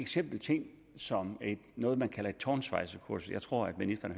simpel ting som noget man kalder et tårnsvejserkursus jeg tror at ministeren